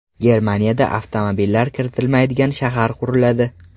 Germaniyada avtomobillar kiritilmaydigan shahar quriladi.